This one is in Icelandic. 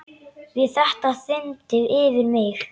Við þetta þyrmdi yfir mig.